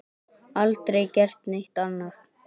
Aldrei gert neitt annað.